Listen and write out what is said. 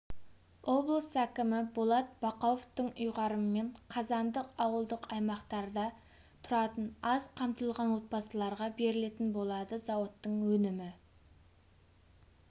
облыс әкімі болат бақауовтың ұйғарымымен қазандық ауылдық аймақтарда тұратын аз қамтылған отбасыларға берілетін болады зауыттың өнімі